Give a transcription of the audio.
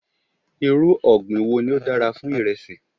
Irú ọ̀gbìn wo ni ó dára fún iresi?